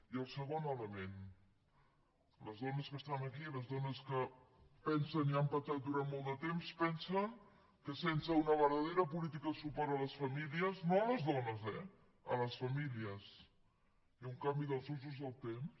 i el segon element les dones que estan aquí les dones que pensen i han pensat durant molt de temps pensen que sense una verdadera política de suport a les famílies no a les dones eh a les famílies i un canvi dels usos del temps